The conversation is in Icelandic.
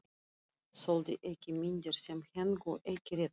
Þoldi ekki myndir sem héngu ekki rétt.